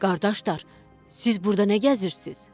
Qardaşlar, siz burda nə gəzirsiz?